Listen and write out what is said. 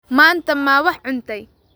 Maanta ma wax cuntay?